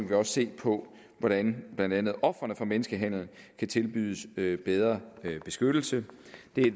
vi også se på hvordan blandt andet ofrene for menneskehandel kan tilbydes bedre beskyttelse